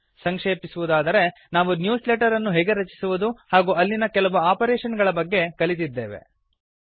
ಸಂಕ್ಷೇಪಿಸುವುದಾದರೆ ನಾವು newsletter ಅನ್ನು ಹೇಗೆ ರಚಿಸುವುದು ಹಾಗೂ ಅಲ್ಲಿನ ಕೆಲವು ಆಪರೇಶನ್ ಗಳ ಬಗ್ಗೆ ಕಲಿತಿದ್ದೇವೆ